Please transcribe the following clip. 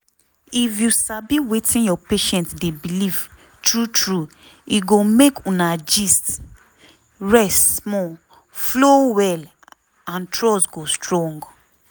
if you sabi wetin your patient dey believe true true e go make una gist (rest small) flow well and trust go strong.